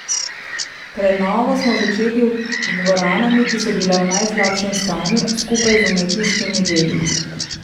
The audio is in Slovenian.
Prenovo smo začeli z dvoranami, ki so bile v najslabšem stanju, skupaj z umetniškimi deli.